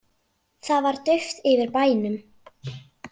Það var dauft yfir bænum.